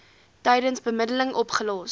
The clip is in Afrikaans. tydens bemiddeling opgelos